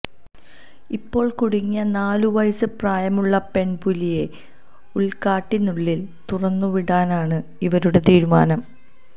ഇപ്പോള് കുടുങ്ങിയ നാലുവയസ് പ്രായമുള്ള പെൺപുലിയെ ഉള്ക്കാട്ടിനുള്ളില് തുറന്നുവിടാനാണ് ഇവരുടെ തീരുമാനം